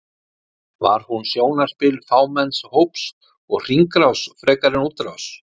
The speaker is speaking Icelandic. Var hún sjónarspil fámenns hóps og hringrás frekar en útrás?